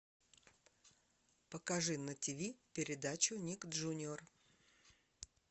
покажи на тв передачу ник джуниор